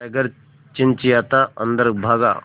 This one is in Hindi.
टाइगर चिंचिंयाता अंदर भागा